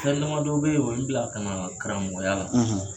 Fɛn damadɔw bɛ yi o ye n bila ka na karamɔgɔya la.